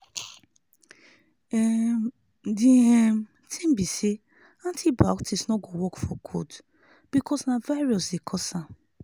um di um tin be say antibiotics no go work for cold because na virus dey cause am